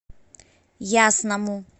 ясному